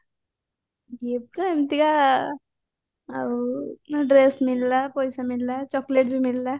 ଏମତିକା ଆଉ dress ମିଳିଲା ପଇସା ମିଳିଲା chocolate ବି ମିଳିଲା